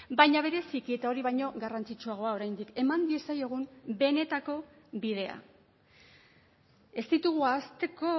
baina bereziki eta hori baino garrantzitsuagoa oraindik eman diezaiogun benetako bidea ez ditugu ahazteko